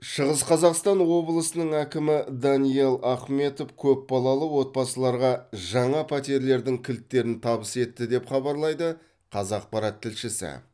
шығыс қазақстан облысының әкімі даниал ахметов көпбалалы отбасыларға жаңа пәтерлердің кілттерін табыс етті деп хабарлайды қазақпарат тілшісі